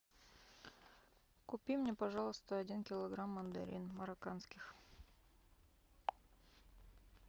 купи мне пожалуйста один килограмм мандарин марокканских